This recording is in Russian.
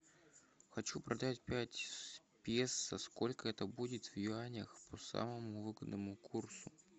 хочу продать пять песо сколько это будет в юанях по самому выгодному курсу